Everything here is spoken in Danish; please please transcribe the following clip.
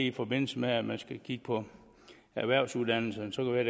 i forbindelse med at man skal kigge på erhvervsuddannelserne være